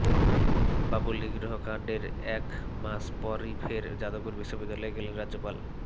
বাবুল নিগ্রহ কান্ডের এক মাস পরই ফের যাদবপুর বিশ্ববিদ্যালয়ে গেলেন রাজ্যপাল